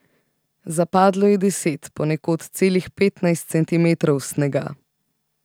Zapadlo je deset, ponekod celih petnajst centimetrov snega.